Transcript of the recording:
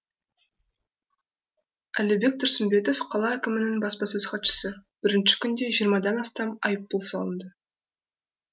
әлібек тұрсымбетов қала әкімінің баспасөз хатшысы бірінші күнде жиырмадан астам айыппұл салынды